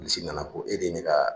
Bilisi nana ko e de ye ne ka